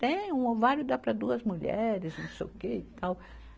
Tem, um ovário dá para duas mulheres, não sei o que e tal.